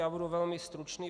Já budu velmi stručný.